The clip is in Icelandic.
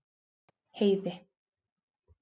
Heiði